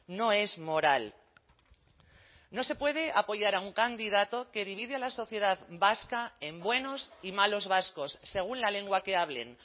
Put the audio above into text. no es moral no se puede apoyar a un candidato que divide a la sociedad vasca en buenos y malos vascos según la lengua que hablen